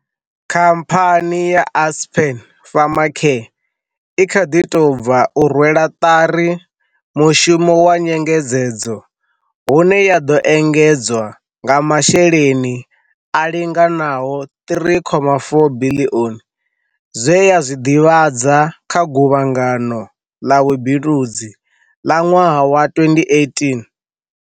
Khamphani ya Aspen Pharmacare i kha ḓi tou bva u rwela ṱari mushumo wa nyenge dzedzo hune ya ḓo engedzwa nga masheleni a linganaho R3.4 biḽioni, zwe ya zwi ḓivhadza kha Guvhangano ḽa Vhubindudzi la ṅwaha wa 2018.